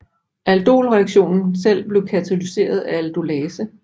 Aldolreaktionen selv bliver katalyseres af aldolase